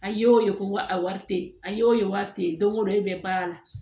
A y'o ye ko a wari te ye a y'o ye wari te ye don o don e bɛ baara la